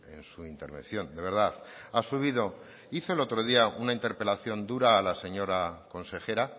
en su intervención de verdad ha subido hizo el otro día una interpelación dura a la señora consejera